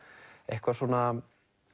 eitthvað svona